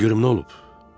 Den görüm nə olub?